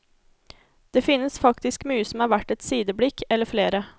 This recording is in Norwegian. Det finnes faktisk mye som er verd et sideblikk, eller flere.